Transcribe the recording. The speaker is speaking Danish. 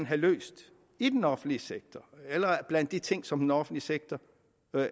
have løst i den offentlige sektor blandt de ting som den offentlige sektor